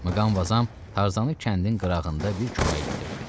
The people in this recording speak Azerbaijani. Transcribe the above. Mqanvazazm Tarzanı kəndin qırağında bir çomağa gətirdi.